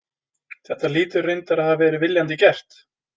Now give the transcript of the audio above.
Þetta hlýtur reyndar hafa verið viljandi gert.